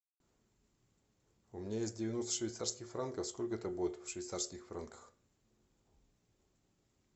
у меня есть девяносто швейцарских франков сколько это будет в швейцарских франках